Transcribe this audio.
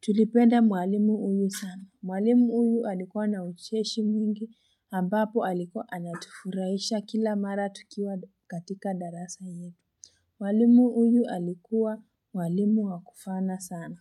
Tulipenda mwalimu huyu sana mwalimu huyu alikuwa na ucheshi mwingi ambapo alikuwa anatufurahisha kila mara tukiwa katika darasa hio Mwalimu huyu alikuwa mwalimu wakufana sana.